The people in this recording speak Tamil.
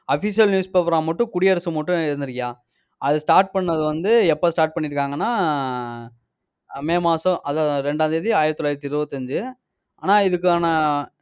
official newspaper ஆ மட்டும் குடியரசு மட்டும் இருந்துருக்குய்யா. அது start பண்ணது வந்து எப்ப start பண்ணியிருக்காங்கன்னா மே மாசம் அதான் ரெண்டாம் தேதி, ஆயிரத்தி தொள்ளாயிரத்தி இருபத்தி அஞ்சு. ஆனா இதுக்கான,